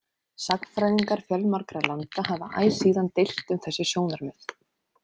Sagnfræðingar fjölmargra landa hafa æ síðan deilt um þessi sjónarmið.